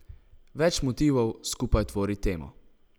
Več motivov skupaj tvori temo.